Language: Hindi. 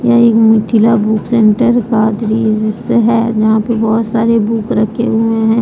यह एक मिथिला बुक सेंटर का दृश्य है जहां पे बहुत सारे बुक रखे हुए हैं।